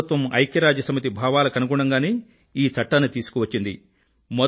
ప్రభుత్వం ఐక్యరాజ్యసమితి భావాలకు అనుగుణంగానే ఈ చట్టాన్ని తీసుకువచ్చింది